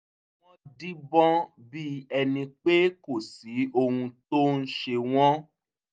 wọ́n díbọ́n bí ẹni pé kò sí ohun tó ń ṣe wọ́n